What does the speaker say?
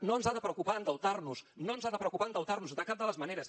no ens ha de preocupar endeutar nos no ens ha de preocupar endeutar nos de cap de les maneres